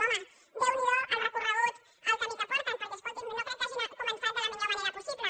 home déu n’hi do el recorregut el camí que porten perquè escolti’m no crec que hagin començat de la millor manera possible